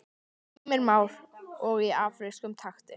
Heimir Már: Og í afrískum takti?